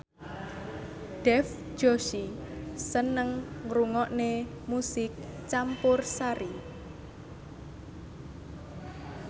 Dev Joshi seneng ngrungokne musik campursari